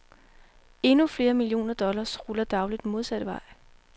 Endnu flere millioner dollars ruller dagligt modsatte vej.